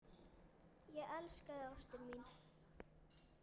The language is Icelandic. Ég elska þig, ástin mín.